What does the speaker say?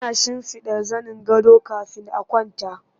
Ana shimfiɗa zanin gado kafin a kwanta